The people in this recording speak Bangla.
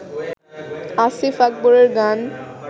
আসিফ আকবরের গান